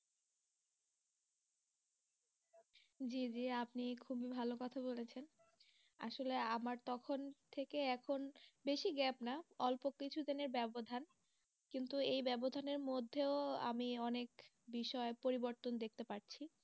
আপনি খুবই ভালো কথা বলেছেন আসলে আমার তখন থেকে এখন বেশি gap না অল্প কিছুদিনের ব্যবধান মধ্যেও আমি অনেক বিষয় পরিবর্তন দেখতে পাচ্ছি।